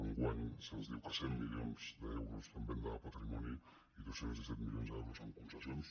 enguany se’ns diu que cent milions d’euros en venda de patrimoni i dos cents i disset milions d’euros en concessions